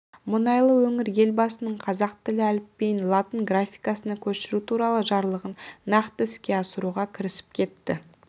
мұнайлы өңір елбасының қазақ тілі әліпбиін латын графикасына көшіру туралы жарлығын нақты іске асыруға кірісіп кетті